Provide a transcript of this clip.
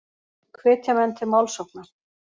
Hvetja menn til málsókna